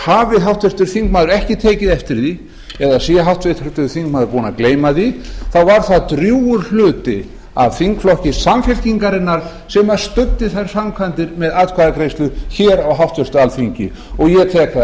hafi háttvirtur þingmaður ekki tekið eftir því eða sé háttvirtur þingmaður búinn að gleyma því þá var það drjúgur hluti af þingflokki samfylkingarinnar sem studdi þær framkvæmdir með atkvæðagreiðslu hér á háttvirtu alþingi ég tek það